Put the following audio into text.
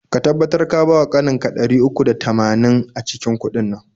Ka tabbatar ka bawa ƙaninka ɗari uku da tamanin a cikin udin nan.